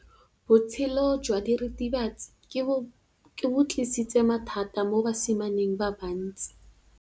Botshelo jwa diritibatsi ke bo tlisitse mathata mo basimaneng ba bantsi.